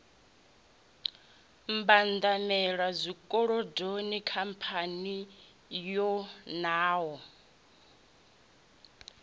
mbwandamela zwikolodoni khamphani yo nwaho